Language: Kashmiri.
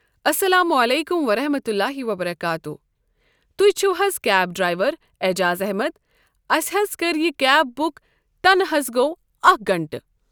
اَسَلامُ عَلیٚکُم وَرَحمَتُللٰہِ وَبَرَکاتُہوٗ تُہۍ چھُو حظ کیب ڈرٛیوَر ایٚجاز احمَد اَسہِ حظ کَریٚیہِ یہِ کیب بُک تَنہٕ حظ گوو اَکھ گَنٛٹہٕ۔